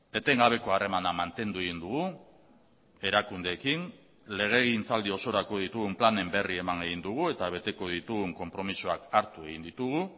etengabeko harremana mantendu egin dugu erakundeekin legegintzaldi osorako ditugun planen berri eman egin dugu eta beteko ditugun konpromisoak hartu egin ditugu